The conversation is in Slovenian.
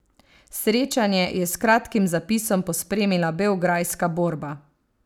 Srečanje je s kratkim zapisom pospremila beograjska Borba.